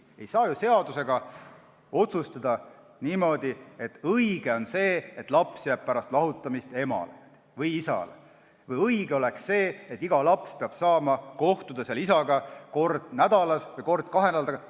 Ei saa ju seaduses otsustada niimoodi, et õige on see, et laps jääb pärast lahutust emale või isale, või õige on see, et iga laps peab saama kohtuda isaga kord nädalas või kord kahe nädala tagant.